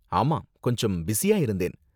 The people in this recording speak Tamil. ஆமா, கொஞ்சம் பிஸியா இருந்தேன்.